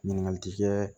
Ɲininkali ti kɛ